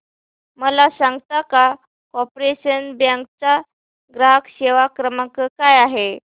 मला सांगता का कॉर्पोरेशन बँक चा ग्राहक सेवा क्रमांक काय आहे